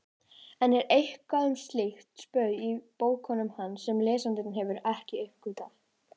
Enn er eitthvað um slíkt spaug í bókum hans sem lesendur hafa ekki uppgötvað.